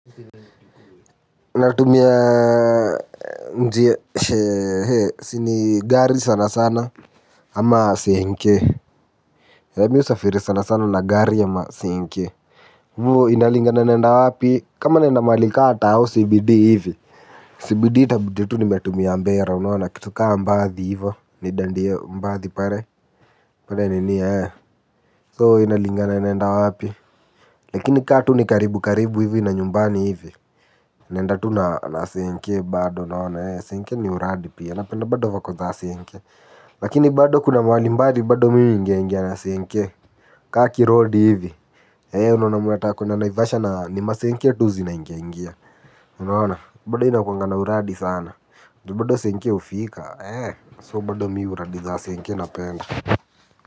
Natumia njia he he si ni gari sana sana ama senke Eeee mi husafiri sana sana na gari ama senke inalingana naenda wapi kama naenda mahali ka tao CBD hivi CBD itabidi tu nimetumia mbera unaona kitu kaa mbadhi hivo nidandie mbadhi pale. Pale nini ee So inalingana naenda wapi. Lakini ka tu ni karibu karibu hivi na nyumbani hivi. Naenda tu na senke bado unaona senke ni uradi pia napenda bado vako za senke. Lakini bado kuna mahali mbali bado mi huingiaingia na senke Kaki kirodi hivi E unaona mnataka kuenda naivasha na ni masenke tu zinaingiaingia. Unaona bado inakuwanga na uradi sana juu bado senke hufika So bado mi uradi za senke napenda.